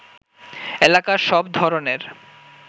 এলাকার সব ধরণের